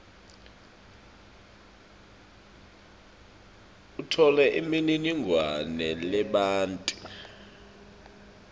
utfole imininingwane lebanti